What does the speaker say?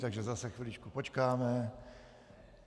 Takže zase chviličku počkáme.